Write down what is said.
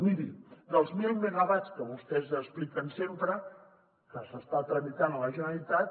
miri dels mil megawatts que vostès expliquen sempre que s’estan tramitant a la generalitat